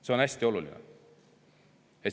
See on hästi oluline.